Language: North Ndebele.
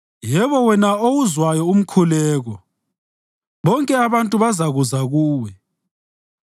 Yebo, wena owuzwayo umkhuleko, bonke abantu bazakuza kuwe.